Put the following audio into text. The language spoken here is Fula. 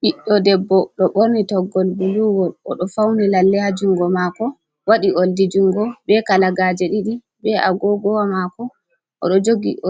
Ɓiɗɗo debbo ɗo ɓorni toggowol ''buluwol''. O ɗo fawni lalle haa junngo maako, waɗi ooldi-junngo, bee kalagaaje ɗiɗi, bee agoogowa maako. O